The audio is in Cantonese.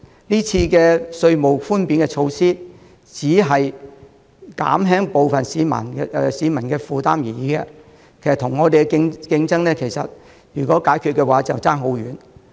今次的稅務寬免措施，只是減輕部分市民的負擔而已，其實與我們的競爭......